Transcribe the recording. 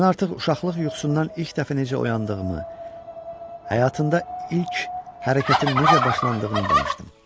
Mən artıq uşaqlıq yuxusundan ilk dəfə necə oyandığımı, həyatında ilk hərəkətin necə başlandığını danışdım.